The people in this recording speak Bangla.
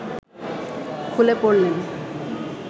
খুলে পড়লেন